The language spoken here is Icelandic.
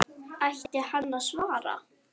Ætti hann að svara?